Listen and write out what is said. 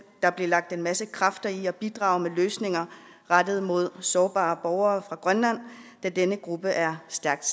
der blive lagt en masse kræfter i at bidrage med løsninger rettet mod sårbare borgere fra grønland da denne gruppe er stærkt